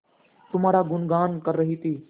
तुम्हारा गुनगान कर रही थी